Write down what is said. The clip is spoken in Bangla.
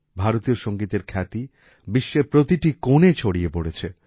ভারতীয় সংগীতের খ্যাতি বিশ্বের প্রতিটি কোণে ছড়িয়ে পড়েছে